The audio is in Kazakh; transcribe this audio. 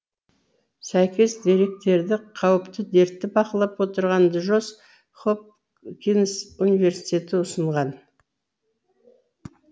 сәйкес деректерді қауіпті дертті бақылап отырған джонс хопкинс университеті ұсынған